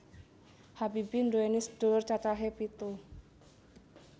Habibie nduwèni sedulur cacahe pitu